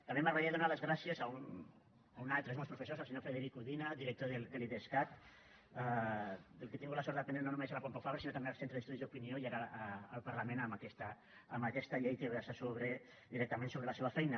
també m’agradaria donar les gràcies a un altre dels meus professors el senyor frederic udina director de l’idescat del qual he tingut la sort d’aprendre no només a la pompeu fabra sinó també al centre d’estudis d’opinió i ara al parlament amb aquesta llei que versa directament sobre la seva feina